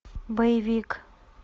боевик